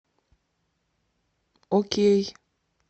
окей